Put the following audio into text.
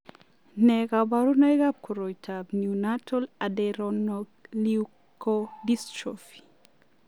Nee kabarunoikab koroitoab Neonatal adrenoleukodystrophy?